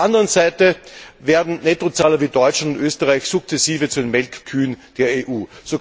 Auf der anderen Seite werden Nettozahler wie Deutschland und Österreich sukzessive zu den Melkkühen der EU.